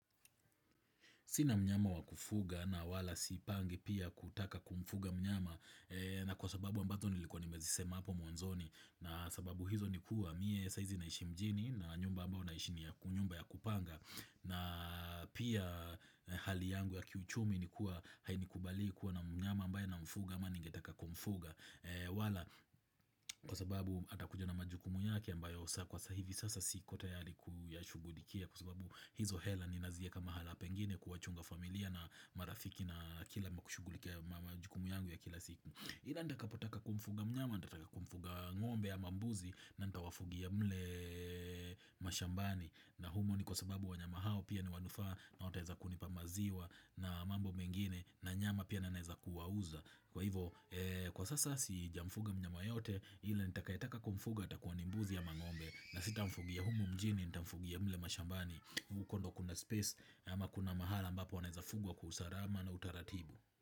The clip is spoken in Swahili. Sina mnyama wa kufuga na wala sipangi pia kutaka kumfuga mnyama na kwa sababu ambazo nilikuwa nimezisema hapo mwanzoni na sababu hizo nikuwa, miye saizi naishi mjini na nyumba ambao naishi ni nyumba ya kupanga na pia hali yangu ya kiuchumi nikuwa hainikubali kuwa na mnyama ambaye namfuga ama ningetaka kumfuga. Wala kwa sababu atakuja na majukumu yake ambayo saa kwa sai hivi sasa siko tayari kuyashugudikia Kwa sababu hizo hela ninazieka mahala pengine kuwachunga familia na marafiki na kila nakushugulikia majukumu yangu ya kila siku ila nitakapotaka kumfuga mnyama, nitataka kumfuga ngombe ama mbuzi na nitawafugia mle mashambani na humo ni kwa sababu wanyama hao pia ni wanufaa na wataweza kunipa maziwa na mambo mengine na nyama pia na ninaweza kuwauza Kwa hivo kwa sasa sijamfuga mnyama yeyote ila nitakayetaka kumfuga atakuwa ni mbuzi ama ngombe na sitamfugia humo mjini nitamfugia mle mashambani huko ndo kuna space ama kuna mahala mbapo wanaezafugwa kwa usalama na utaratibu.